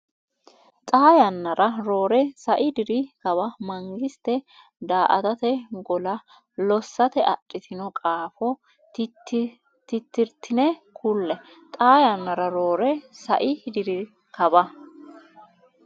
Xaa yannara roore sai diri kawa mangiste daa”atate gola lossate adhitino qaafo tittirtine kulle Xaa yannara roore sai diri kawa.